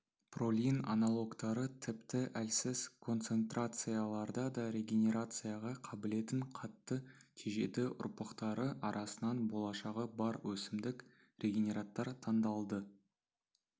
пролин аналогтары тіпті әлсіз концентрацияларда да регенерацияға қабілетін қатты тежеді ұрпақтары арасынан болашағы бар өсімдік-регенераттар таңдалды